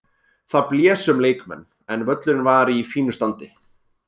Það blés um leikmenn en völlurinn var í fínu standi.